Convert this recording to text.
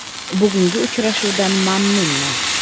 Bugungi uchrashuvdan mamnunman.